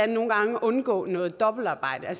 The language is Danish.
nogle gange undgå noget dobbeltarbejde der